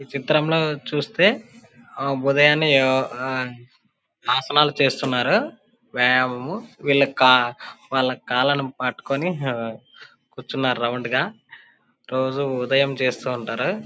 ఈ చిత్రం లో చుస్తే ఉదయాన్నే ఆ యూ ఆసనాలు చేస్తున్నారు. ఆ యూ వీళ్లకు కాల్ వాళ్లకు కాళ్ళను పట్టుకుని కూర్చున్నారు రౌండ్ గా . రోజు ఉదయం చేస్తూ ఉంటారు.